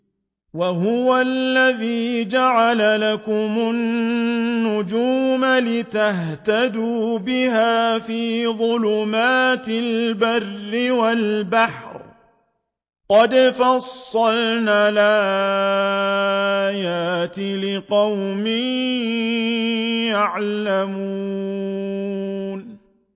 وَهُوَ الَّذِي جَعَلَ لَكُمُ النُّجُومَ لِتَهْتَدُوا بِهَا فِي ظُلُمَاتِ الْبَرِّ وَالْبَحْرِ ۗ قَدْ فَصَّلْنَا الْآيَاتِ لِقَوْمٍ يَعْلَمُونَ